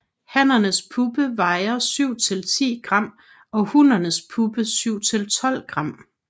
Hannens puppe vejer 7 til 10 g og hunnens puppe 7 til 12 g